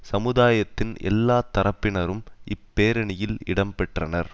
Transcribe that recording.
சமுதாயத்தின் எல்லா தரப்பினரும் இப்பேரணியில் இடம்பெற்றனர்